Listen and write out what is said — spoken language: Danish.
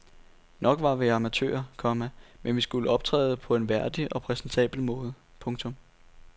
Nok var vi amatører, komma men vi skulle optræde på en værdig og præsentabel måde. punktum